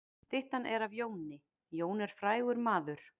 Styttan er af Jóni. Jón er frægur maður.